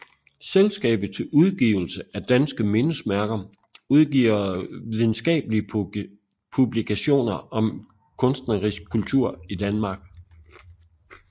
Selskabet til Udgivelse af danske Mindesmærker udgiver videnskabelige publikationer om kunstnerisk kultur i Danmark